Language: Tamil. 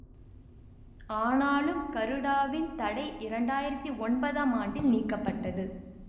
ஆனாலும் கருடாவின் தடை இரண்டு ஆயிரத்தி ஒன்பதாம் ஆண்டில் நீக்கப்பட்டது